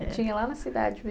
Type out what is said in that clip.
Tinha lá na cidade mesmo?